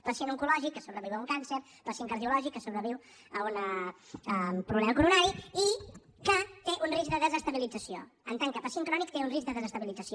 pacient oncològic que sobreviu un càncer pacient cardiològic que sobreviu un problema coronari i que té un risc de desestabilització en tant que pacient crònic te un risc de desestabilització